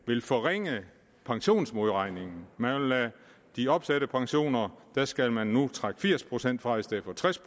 vil forringe pensionsmodregningen med de opsatte pensioner skal man nu trække firs procent fra i stedet for tres